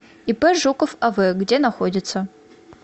ип жуков ав где находится